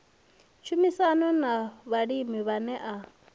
tshumisano na vhalimi vhane a